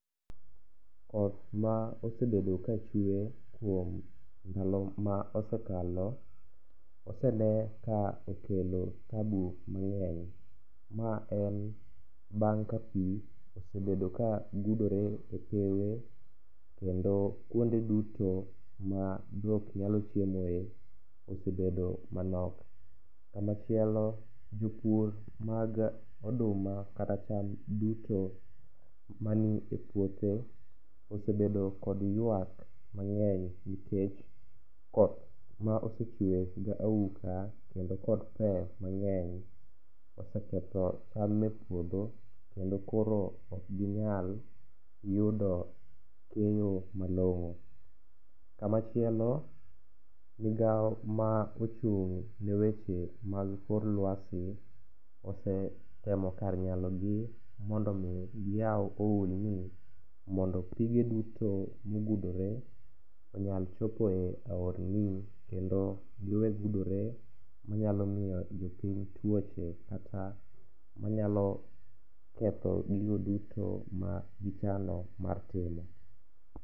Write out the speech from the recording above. Koth ma osebedo kachwe kuom ndalo ma osekalo osene ka okelo tabu mang'eny maen bang' ka pi osebedo kagudore e pewe kendo kuonde duto ma dhok nyalo chieme osebedo manok. Kamachielo, jopur mag oduma kata cham duto mani e puothe osebedo kod ywak mang'eny nikech koth ma osechwe gauka kendo kod pe mang'eny oseketho cham e puodho kendo koro okginyal yudo keyo malong'o. Kamachielo, migao ma ochung' ne weche mag kor lwasi osetemo kar nyalogi mondo omi giyaw ohulni mondo pige duto mogudore onyal chopo e aorni kendo giwe gudore manyalo miyo jopiny tuoche kata manyalo ketho gigo duto magichano mar timo.